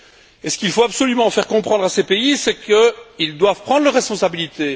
Et ce qu'il faut absolument faire comprendre à ces pays, c'est qu'ils doivent prendre leurs responsabilités.